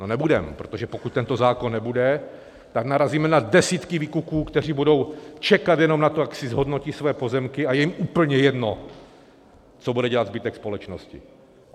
No nebudeme, protože pokud tento zákon nebude, tak narazíme na desítky výkupů, které budou čekat jenom na to, jak si zhodnotí své pozemky, a je jim úplně jedno, co bude dělat zbytek společnosti.